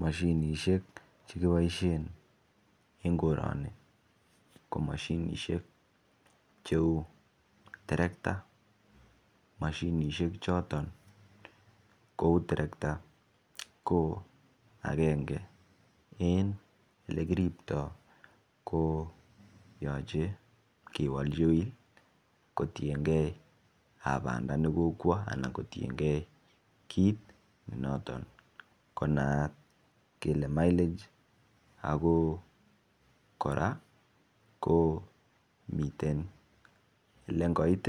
Moshinishek che kiboishen en koroni ko moshinishek che uu terekta moshinishek choton che uu terekta ko angenge en ole kiribtoo ko yoche kewolji oil kotiengee banda ne kokwo anan kotiengee kit noton ne naat ko mileage ako koraa ko miten le ngoit